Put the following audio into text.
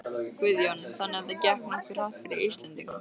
Guðjón: Þannig að það gekk nokkuð hratt fyrir Íslendingana?